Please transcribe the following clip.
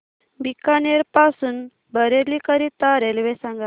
बीकानेर पासून बरेली करीता रेल्वे सांगा